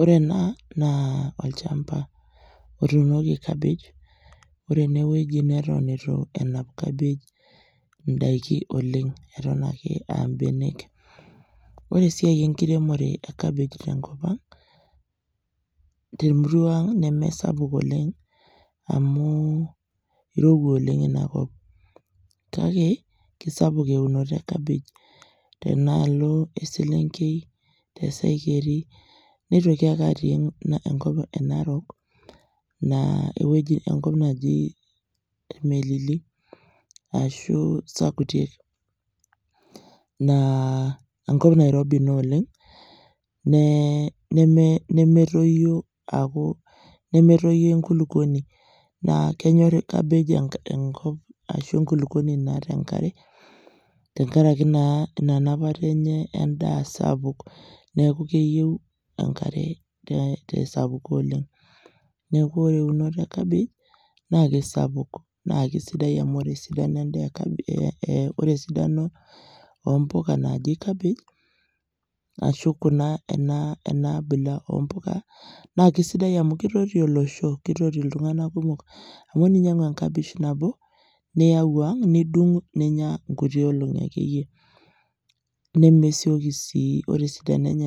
Ore ena naa olchamba otuunoki cabbage , ore ene wueji neton itu enap cabbage indaiki oleng , eton ake aa mbenek . Ore esiai enkiremore e cabbage , temurua ang neme sapuk oleng amu kirowua oleng , kake kisapuk eunoto e cabbage oleng tenaalo e selenkei, te saikeri nitoki ake atii enkop e narok ewueji neji irmelili ashu sakutiek naa enkop nairobi ina oleng nemetoyio aku nemetoyio enkulukuoni . Naa kenyor cabbage enkop ashu enkulukuoni naata enkare tenkaraki naa ina napata enye endaa sapuk neeku keyieu enkare te sapuko oleng. Neeku ore eunoto e cabbage naa kisapuk naa ore sii penyae ore esidano oompuka naji cabbage ashu kuna kuna enaa abila oompuka naa kisidai amu kitoti olosho , kitoti iltunganak kumok. Amu teninyiangu enkabesh nabo niyau ang ,nidung ninya nkuti olongi ake nemesioki sii ore esidano enye